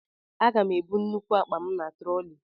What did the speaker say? Aga m ebu nnukwu akpa m na troli